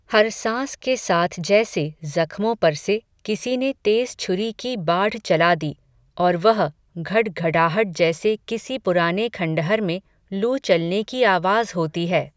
हर सांस के साथ जैसे ज़ख्मो पर से, किसी ने तेज़ छुरी की बाढ चला दी, और वह घड घडाहट जैसे किसी पुराने खंडहर में, लू चलने की आवाज़ होती है